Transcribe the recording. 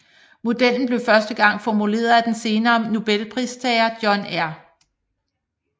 Modellen blev første gang formuleret af den senere Nobelpristager John R